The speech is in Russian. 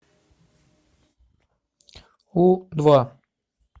у два